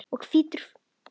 og hvítur vinnur.